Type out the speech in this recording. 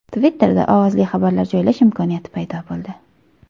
Twitter’da ovozli xabarlar joylash imkoniyati paydo bo‘ldi.